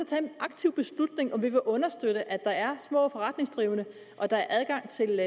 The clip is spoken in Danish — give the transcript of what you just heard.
tage en aktiv beslutning om om vi vil understøtte at der er små forretningsdrivende og at der er adgang til